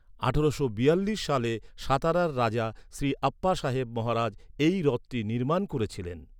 আঠারোশো বিয়াল্লিশ সালে সাতারার রাজা শ্রী আপ্পাসাহেব মহারাজ এই হ্রদটি নির্মাণ করেছিলেন।